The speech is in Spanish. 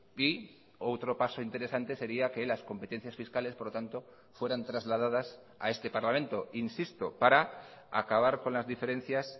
y o otro paso interesante sería que las competencias fiscales por lo tanto fueran trasladadas a este parlamento insisto para acabar con las diferencias